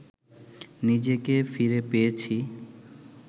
নিজেকে ফিরে পেয়েছি